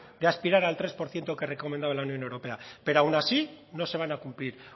de aspirar al tres por ciento que recomendaba la unión europea pero aun así no se van a cumplir